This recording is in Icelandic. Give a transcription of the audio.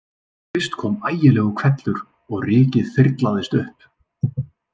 Fyrst kom ægilegur hvellur og rykið þyrlaðist upp.